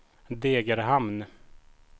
Degerhamn